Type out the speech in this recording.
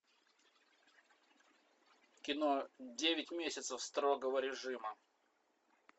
кино девять месяцев строгого режима